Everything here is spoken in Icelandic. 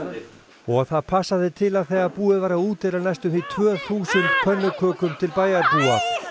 og það passaði til að þegar búið var að útdeila næstum því tvö þúsund pönnukökum til bæjarbúa